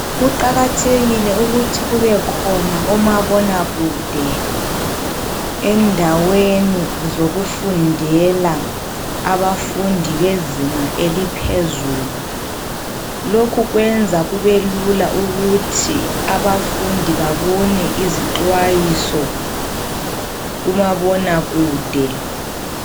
Kuqakathekile ukuthi kubekhona omabonakude endaweni zokufundela abafundi bezinga eliphezulu, lokhu kwenza kube lula ukuthi abafundi babone izixwayiso kumabonakude.